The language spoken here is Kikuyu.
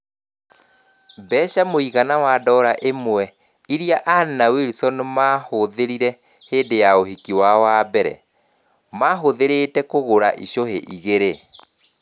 Mbeca mũigana wa ndora imwe ĩrĩa Anne na Wilson maahũthĩrire hĩndĩ ya ũhiki wao wa mbere, mahuthĩrĩte kugura icũhĩ igĩrĩ.